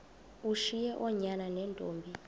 ushiye oonyana neentombi